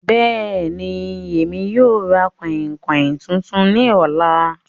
Bẹ́ẹ̀ni, Emi yóò ra kainkain tuntun ni ọla